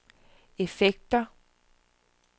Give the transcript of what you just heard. effekter